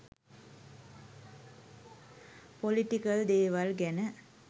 Political දේවල් ගැන.